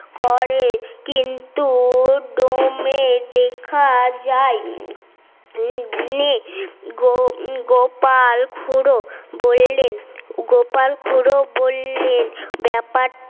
করে কিন্তু দমে দেখা যায় গোপাল গোপাল খুড়ো বললেন গোপাল খুড়ো বললেন ব্যাপার